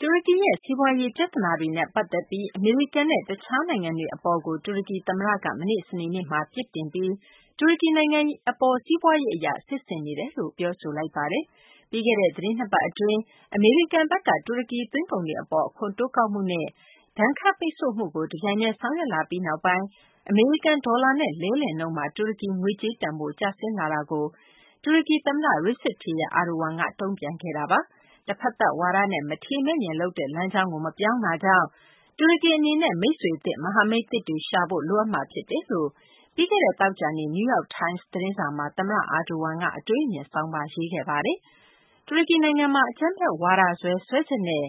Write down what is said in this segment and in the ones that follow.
တူရကီရဲ့ စီးပွားရေး ပြသနာတွေနဲ့ ပတ်သက်ပြီး အမေရိကန်နဲ့ တခြားနိုင်ငံတွေ အပေါ် တူရကီ သမ္မတက မနေ့ စနေနေ့က ပြစ်တင် ပြီး တူရကီနိုင်ငံ အပေါ် စီးပွားရေးအရ စစ်ဆင်နေတယ်လို့ ပြောဆိုလိုက်ပါတယ်။ ပြီးခဲ့တဲ့ သတင်း ၂ ပတ် အတွင်း အမေရိကန်ဘက်က တူရကီ သွင်းကုန်တွေ အပေါ် အခွန်တိုးကောက်မှုနဲ့ ဒဏ်ခတ်ပိတ်ဆို့မှုတွေကို တပြိုင်တည်း ဆောင်ရွက်လာပြီးနောက်ပိုင်း အမေရိကန် ဒေါ်လာနဲ့ လဲလှယ်နှုန်းမှာ တူရကီ ငွေကြေးတန်ဖိုး ကျဆင်းလာမှုကို တူရကီ သမ္မတRecep Tayyip Erdogan က တုံ့ပြန်ခဲ့တာပါ။ တဖတ်သက်ဝါဒနဲ့ မထေမဲ့မြင်လုပ်တဲ့ လမ်းကြောင်းကို မပြောင်းတာကြောင့် တူရကီ အနေနဲ့ မိတ်ဆွေသစ်၊ မဟာမိတ်သစ်တွေ ရှာဖို့ လိုအပ်မှာ ဖြစ်တယ်လို့ ပြီးခဲ့တဲ့ သောကြာနေ့ New York Times သတင်းစာမှာ သမ္မတ Erdogan က အတွေးအမြင်ဆောင်းပါး ရေးသားခဲ့ပါတယ်။ တူရကီနိုင်ငံမှာ အကြမ်းဖက်ဝါဒစွဲ စွဲချက်နဲ့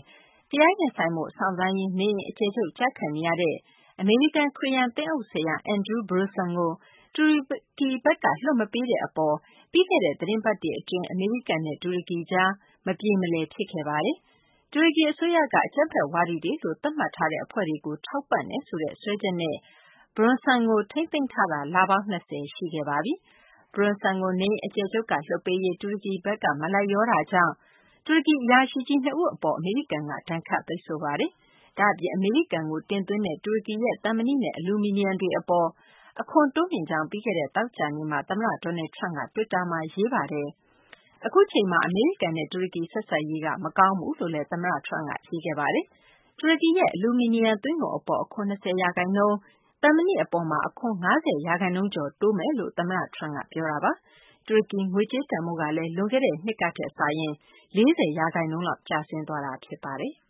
တရားရင်ဆိုင်ဖို့ စောင့်ဆိုင်းရင်း နေအိမ်အကျယ်ချုပ်ကျခံနေရတဲ့ အမေရိကန် ခရစ်ယာန် သင်းအုပ်ဆရာ Andrew Brunson ကို တူရကီဘက်က လွှတ်မပေးတဲ့ အပေါ် ပြီးခဲ့တဲ့ သတင်ပတ်တွေ အတွင်း အမေရိကန်နဲ့ တူရကီကြား မပြေမလည် ဖြစ်ခဲ့တာပါ။ တူရကီ အစိုးရက အကြမ်းဖက်ဝါဒီတွေလို သတ်မှတ်ထားတဲ့ အဖွဲ့တွေကို ထောက်ပံ့တယ်ဆိုတဲ့ စွပ်စွဲချက်နဲ့ Brunson ကို ထိန်းသိမ်းထားတာ လပေါင်း ၂၀ ရှိခဲ့ပါပြီ။ Brunson ကို နေအိမ်အကျယ်ချုပ်က လွှွတ်ပေးရေး တူရကီဘက်က မလိုက်လျောတာကြောင့် တူရကီ အရာရှိကြီး ၂ ဦး အပေါ် အမေရိကန်က ဒဏ်ခတ်ပိတ်ဆို့ခဲ့ပါတယ်။ ဒါ့အပြင် အမေရိကန်ကို တင်သွင်းနေတဲ့ တူရကီရဲ့ သံမဏိနဲ့ အလူမီနီယံ တွေ အပေါ် အခွန်တိုးမြှင့်ကြောင်း ပြီးခဲ့တဲ့ သောကြာနေ့မှာ သမ္မတ Donald Trump က တွစ်တာမှာ ရေးသားခဲ့တာပါ။ အခုအချိန်မှာ အမေရိကန်နဲ့ တူရကီ ဆက်ဆံရေးက မကောင်းဘူးလို့လည်း သမ္မတ Trump က ရေးသားခဲ့ပါတယ်။ တူရကီရဲ့ အလူမီနီယံ သွင်းကုန် အပေါ် အခွန် ၂၀ ရာခိုင်နှုန်း၊ သံမဏိ အပေါ် အခွန် ၅၀ ရာခိုင်နှုန်းကျော် တိုးသွားမယ်လို့ သမ္မတ Trump က ပြောခဲ့တာပါ။ တူရကီ ငွေကြေးတန်ဖိုးကလည်း လွန်ခဲ့တဲ့နှစ်ကထက် ၄၀ ရာခိုင်နှုန်းလောက် ကျဆင်းသွားတာ ဖြစ်ပါတယ်။